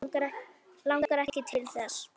Langar ekki til þess.